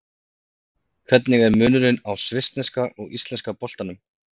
Hvernig er munurinn á svissneska og íslenska boltanum?